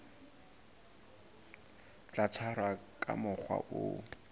tla tshwarwa ka mokgwa o